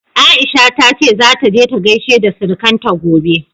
Aisha ta ce zata je ta gaishe da surukanta gobe.